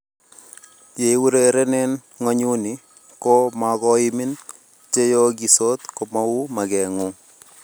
yeiurerenen ng'onyuni ko mokoimin cheyookisot komou makeng'ung